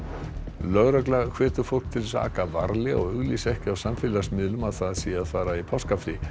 lögregla hvetur fólk til að aka varlega og auglýsa ekki á samfélagsmiðlum að það sé að fara í páskafrí